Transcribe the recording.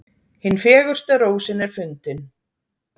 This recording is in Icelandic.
Hin fegursta rósin er fundin.